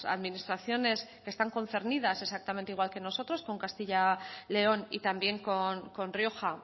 administraciones que están concernidas exactamente igual que nosotros con castilla león y también con rioja